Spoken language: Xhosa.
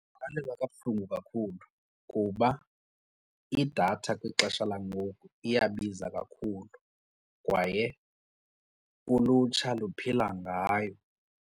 Ndingavakalelwa kabuhlungu kakhulu kuba idatha kwixesha langoku iyabiza kakhulu kwaye ulutsha luphila ngayo.